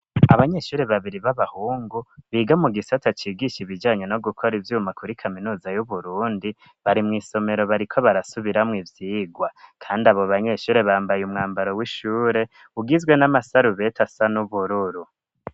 Abanyeshuri babiri b'abahungu biga mu gisata cigisha ibijanye no gukora ivyuma kuri kaminuza yu Burundi bari mw'isomero bariko barasubiramwo ivyirwa kandi abo banyeshure bambaye umwambaro w'ishure ugizwe n'amasarubete asa n'ubururu